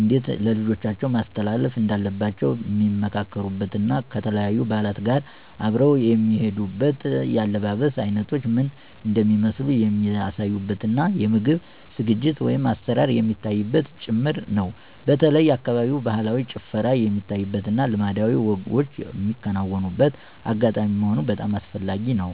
እንዴት ለልጆቻቸው ማስተላለፍ እንዳለባቸዉ ሚመካከሩበት እና ከተለያዩ በዓላት ጋር አብረው የሚሄዱት የአለባበስ አይነቶች ምን እንደሚመስሉ የሚያሳዩበት እና የምግብ ዝግጅት(አሰራር) የሚታይበትም ጭምር ነው። በተለይ የአካባቢው ባህላዊ ጭፈራ የሚታይበት እና ልማዳዊ ወጎች ሚከናወንበት አጋጣሚ መሆኑ በጣም አስፈላጊ ነው።